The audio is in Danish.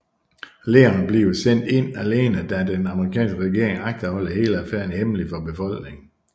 Leon bliver sendt ind alene da den amerikanske regering agter at holde hele affæren hemmelig for befolkningen